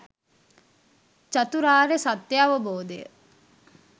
චතුරාර්ය සත්‍යය අවබෝධය